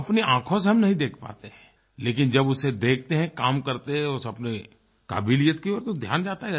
जो अपनी आँखों से हम नहीं देख पाते हैं लेकिन जब उसे देखते हैं काम करते हुए उसे अपने काबिलियत की ओर तो ध्यान जाता है